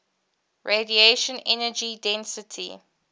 radiation energy density